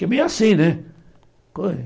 Que é meio assim, né?